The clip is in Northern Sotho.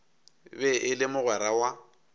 be e le mogwera wa